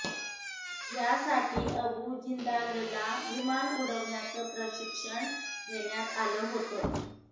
यासाठी अबू जिंदालला विमान उडवण्याचं प्रशिक्षण देण्यात आलं होतं